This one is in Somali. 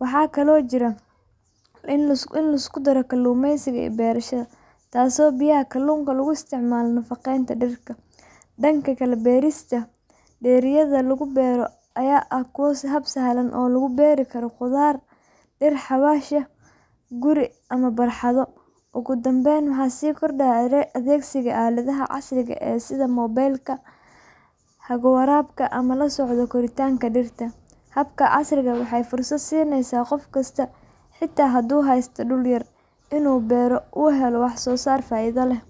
Waxaa kaloo jira aquaponics, oo isku daraya kalluumaysiga iyo beerashada, taasoo biyaha kalluunka loogu isticmaalo nafaqaynta dhirta. Dhanka kale, beerista dheriyada lagu beero ayaa ah hab sahlan oo lagu beeri karo khudaar iyo dhir xawaash ah gudaha guri ama barxado. Ugu dambayn, waxaa sii kordhaya adeegsiga aaladaha casriga ah sida moobilka lagu hago waraabka ama la socodka koritaanka dhirta. Hababkan casriga ah waxay fursad siinayaan qof kasta, xitaa haddii uu haysto dhul yar, inuu beero oo uu helo wax-soosaar faa’iido leh.